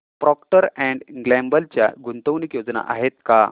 Procter and Gamble च्या गुंतवणूक योजना आहेत का